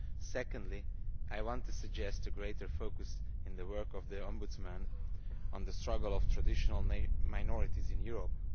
Secondly, I want to suggest a greater focus, in the work of the Ombudsman, on the struggle of traditional minorities in Europe.